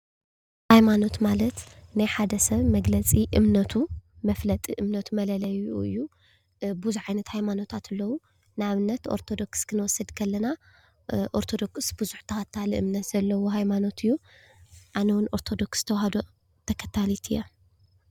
ሃይማኖት ማለት ናይ ሓደ ሰብ መግለፂ እምነቱ መፍለጢ እምነቱ መለለይኡ እዩ። ብዙሓት ዓይነታት ሃይማኖታት አለው። ንአብነት ኦርቶዶክስ ክንወስድ ከለና ኦርቶዶክስ ብዙሕ ተኸታሊ እምነት ዘለዎ ሃይማኖት እዩ። አነ እውን ኦርቶዶክስ ተዋሕዶ ተኸታሊት እየ።